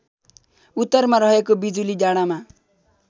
उत्तरमा रहेको बिजुलीडाँडामा